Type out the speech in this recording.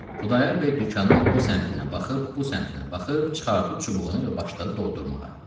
Xudayar bəy dükanın o səmtinə baxıb, bu səmtinə baxıb, çıxartdı çubuğunu və başladı doldurmağa.